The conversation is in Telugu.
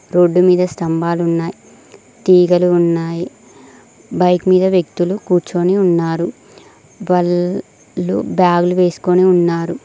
రోడ్డు మీద స్తంభాలున్నాయ్ తీగలు ఉన్నాయి బైక్ మీద వ్యక్తులు కూర్చొని ఉన్నారు వాళ్ళు బ్యాగులు వేస్కొని ఉన్నారు.